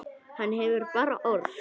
Þú hefur bara orð.